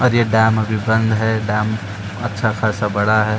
और ये डैम अभी बंद है। डैम अच्छा खासा बड़ा है।